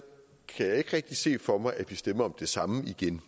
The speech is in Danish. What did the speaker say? jeg ikke rigtig kan se for mig at vi stemmer om det samme igen